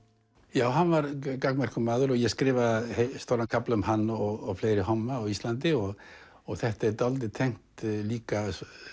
hann var gagnmerkur maður og ég skrifaði stóran kafla um hann og fleiri homma á Íslandi og þetta er dálítið tengt líka